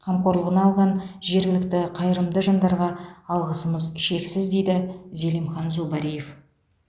қамқорлығына алған жергілікті қайырымды жандарға алғысымыз шексіз дейді зелимхан зубариев